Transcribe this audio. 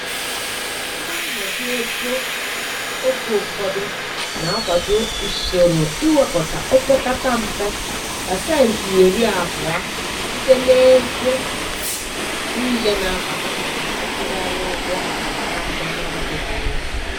Ndị nhazi ego oge ụfọdụ na-akwado usoro iwepụta o pekata mpe pasenti iri abụọ site n'ego niile na-abata maka ịkwụgharị ụgwọ na-abịa n'ọdịniihu.